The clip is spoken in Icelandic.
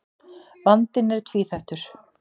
Vandinn er tvíþættur.